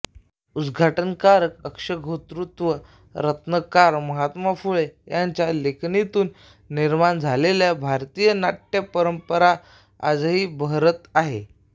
आद्यनाटककार अश्वघोषतृतीय रत्नकार महात्मा फुले यांच्या लेखणीतून निर्माण झालेली भारतीय नाट्य परंपरा आजही बहरत आहे